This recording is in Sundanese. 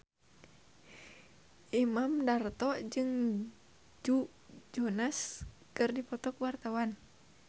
Imam Darto jeung Joe Jonas keur dipoto ku wartawan